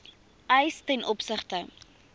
eis ten opsigte